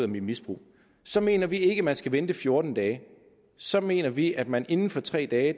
misbrug så mener vi ikke man skal vente fjorten dage så mener vi at man inden for tre dage